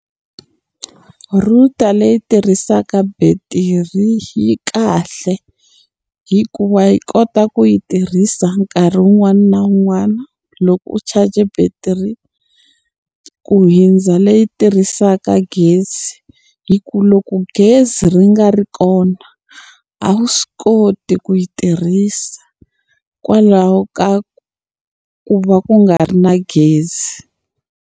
Router leyi tirhisaka betiri yi kahle, hikuva yi kota ku yi tirhisa nkarhi wun'wana na wun'wana loko u charge-e battery, ku hundza leyi tirhisaka gezi. Hikuva loko gezi ri nga ri kona, a wu swi koti ku yi tirhisa kwalaho ka ku va ku nga ri na gezi.